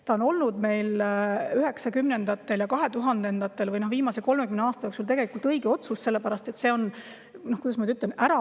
See on olnud meil üheksakümnendatel ja kahetuhandendatel või viimase 30 aasta jooksul tegelikult õige otsus, sellepärast et see on – kuidas ma nüüd ütlen?